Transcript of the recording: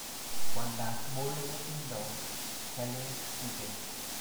Kwandab molo kotindo ngalek tuten